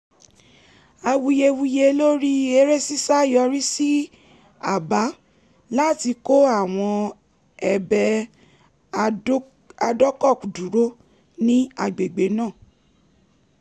awuyewuye lórí eré ṣíṣá yọrí sí àbá láti kọ́ àwọn ebè adọ́kọ̀dúró ní agbègbè náà